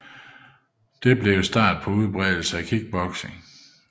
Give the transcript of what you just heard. Dette blev begyndelsen på udbredelsen af kickboxing